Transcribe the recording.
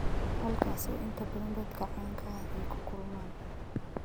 halkaas oo inta badan dadka caanka ah ay ku kulmaan